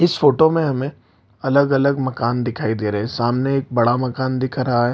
इस फ़ोटो में हमें अलग-अलग मकान दिखाइ दे रहा है सामने एक बड़ा मकान दिखाई दे रहा है।